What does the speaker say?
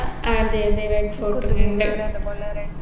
അതെ അതെ റെഡ്‌ഫോർട്ടും കണ്ട്